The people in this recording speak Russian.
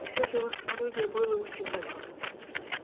и все же его самолюбие было ущемлено